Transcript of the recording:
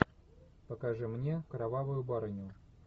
покажи мне кровавую барыню